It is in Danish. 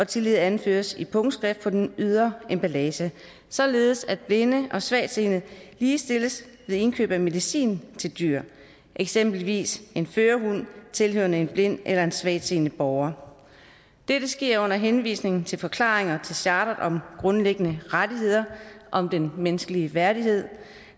tillige anføres i punktskrift på den ydre emballage således at blinde og svagtseende ligestilles ved indkøb af medicin til dyr eksempelvis en førerhund tilhørende en blind eller svagtseende borger dette sker under henvisning til forklaringer til chartret om grundlæggende rettigheder om den menneskelige værdighed